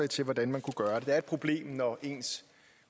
til hvordan man kunne gøre det det er et problem når ens